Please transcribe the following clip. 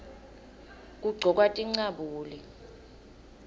kugcokwa tincabule